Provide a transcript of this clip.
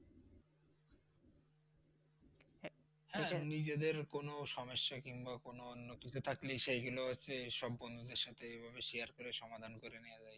নিজেদের কোনো সমস্যা কিংবা কোনো অন্য কিছু থাকলে সেগুলো হচ্ছে সব বন্ধুদের সাথে এইভাবে share সমাধান করে নেয়া যায়।